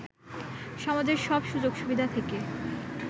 সমাজের সব সুযোগ সুবিধা থেকে